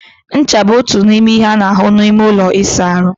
Ncha bụ otu n'ime ihe a na-ahụ n'ime ụlọ ịsa ahụ.